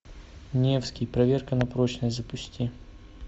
невский проверка на прочность запусти